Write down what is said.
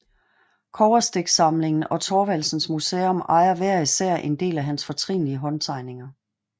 Kobberstiksamlingen og Thorvaldsens Museum ejer hver især en del af hans fortrinlige håndtegninger